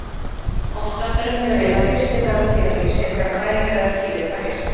Oftast er miðað við að fyrsti dagur tíðahrings sé þegar blæðingar eða tíðir hefjast.